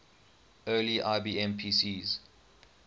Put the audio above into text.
early ibm pcs